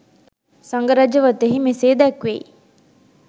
සඟ රජ වතෙහි මෙසේ දැක්වෙයි.